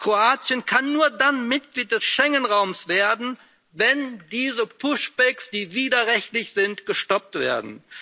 Kroatien kann nur dann Mitglied des Schengen Raums werden, wenn diese Push backs, die widerrechtlich sind, gestoppt werden.